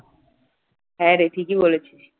হ্যাঁ রে ঠিকই বলেছিস